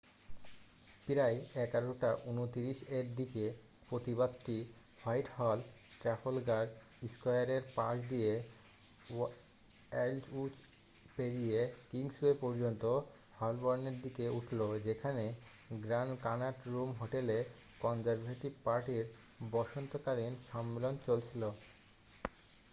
প্রায় 11:29 এর দিকে প্রতিবাদটি হোয়াইটহল ট্রাফলগার স্কয়ারের পাশ দিয়ে অ্যালডউইচ পেরিয়ে কিংসওয়ে পর্যন্ত হলবর্নের দিকে উঠল যেখানে গ্র্যান্ড কানাট রুম হোটেলে কনজারভেটিভ পার্টির বসন্তকালীন সম্মেলন চলছিল